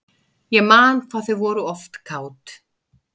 Ég man hvað þau voru oft kát.